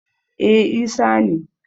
e Isa ne